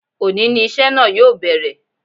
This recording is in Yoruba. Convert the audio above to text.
Òní ni iṣẹ́ náà yóò bẹ̀rẹ̀